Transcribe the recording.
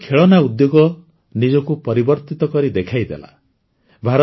ଭାରତର ଖେଳନା ଉଦ୍ୟୋଗ ନିଜକୁ ପରିବର୍ତ୍ତିତ କରି ଦେଖେଇଦେଲା